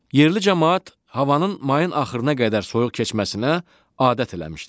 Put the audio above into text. Yerli camaat havanın mayın axırına qədər soyuq keçməsinə adət eləmişdi.